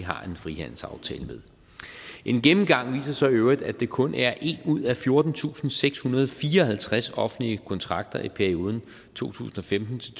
har en frihandelsaftale med en gennemgang viser så i øvrigt at det kun er en ud af fjortentusinde og sekshundrede og fireoghalvtreds offentlige kontrakter i perioden to tusind og femten til